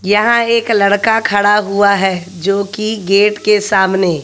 यहां एक लड़का खड़ा हुआ है जोकि गेट के सामने--